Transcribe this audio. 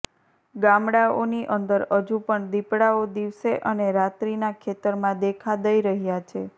ગામડાઓની અંદર હજુ પણ દીપડાઓ દિવસે અને રાત્રીના ખેતરમાં દેખા દઈ રહ્યા છે